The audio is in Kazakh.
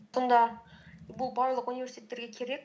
сонда бұл барлық университеттерге керек